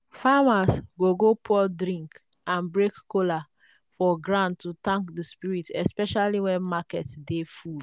farmers go go pour drink and break kola for ground to thank the spirits especially when market dey full.